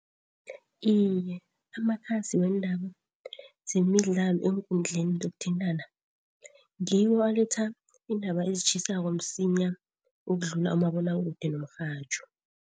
Iye, amakhasi weendaba zemidlalo eenkundleni zokuthintana ngiwo aletha iindaba ezitjhisako msinya ukudlula umabonwakude nomrhatjho.